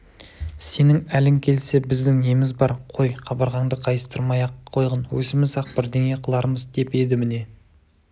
сенің әлің келсе біздің неміз бар қой қабырғаңды қайыстырмай-ақ қойғын өзіміз-ақ бірдеңе қылармыз деп еді міне